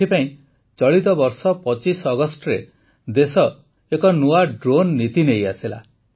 ଏଥିପାଇଁ ଚଳିତ ବର୍ଷ ୨୫ ଅଗଷ୍ଟରେ ଦେଶ ଏକ ନୂଆ ଡ୍ରୋନ୍ ନୀତି ନେଇ ଆସିଲା